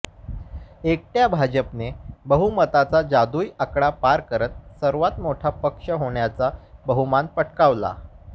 एकट्या भाजपने बहुमताचा जादुई आकडा पार करत सर्वात मोठा पक्ष होण्याचा बहुमान पटकावला